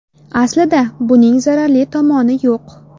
Aslida, buning zararli tomoni yo‘q.